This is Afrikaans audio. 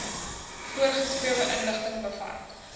voorgeskrewe inligting bevat